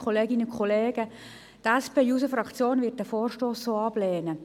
Die SP-JUSO-PSA-Fraktion wird den Vorstoss ablehnen.